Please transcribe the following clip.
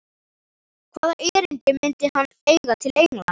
Hvaða erindi myndi hann eiga til Englands?